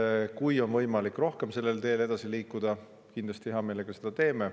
Kui sellel teel on võimalik veel rohkem edasi liikuda, me kindlasti hea meelega seda teeme.